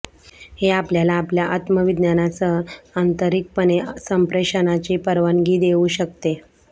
हे आपल्याला आपल्या आत्मविज्ञानासह आंतरिकपणे संप्रेषणाची परवानगी देऊ शकते